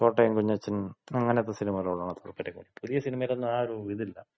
കോട്ടയം കുഞ്ഞച്ചൻ, അങ്ങനത്ത സിനിമകളോടാണ് താല്പര്യം കൂടുതല്. പുതിയ സിനിമയിലൊന്നും ആ ഒരു ഇതില്ല.